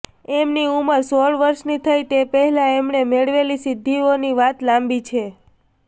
એમની ઉંમર સોળ વર્ષની થઈ તે પહેલાં એમણે મેળવેલી સિદ્ધિઓની વાત લાંબી છે